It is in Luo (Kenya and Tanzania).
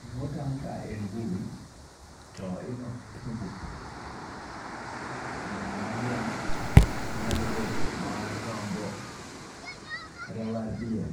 Gimotang' ka en bul to ilose kowuok kuom pien, onyalo bet pien mar dhiang' onyalo bet mar rombo kata mar diel